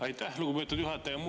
Aitäh, lugupeetud juhataja!